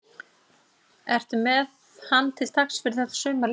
Ertu með hann til taks fyrir þetta sumar líka?